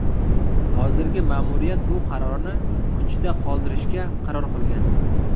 Hozirgi ma’muriyat bu qarorni kuchida qoldirishga qaror qilgan.